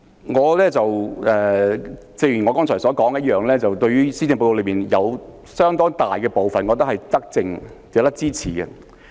主席，開宗明義，正如我剛才所說，我認為施政報告中有相當大部分是德政，值得支持。